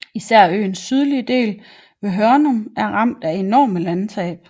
Især øens sydlige del ved Hørnum er ramt af enorme landtab